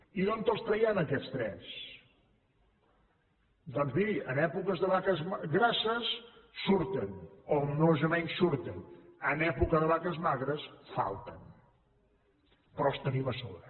i d’on els traiem aquests tres doncs miri en èpoques de vaques grasses surten o més o menys surten en època de vaques magres falten però els tenim a sobre